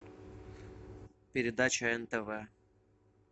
передача нтв